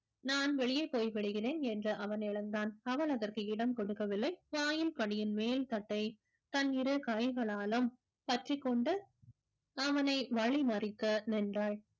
நான் வெளியே போய்விடுகிறேன் என்று அவன் எழுந்தான் அவள் அதற்கு இடம் கொடுக்கவில்லை வாயில் படியின் மேல் தட்டை தன் இரு கைகளாலும் பற்றிக்கொண்டு அவனை வழிமறித்து நின்றாள்